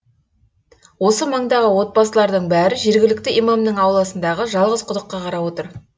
осы маңдағы отбасылардың бәрі жергілікті имамның ауласындағы жалғыз құдыққа қарап отыр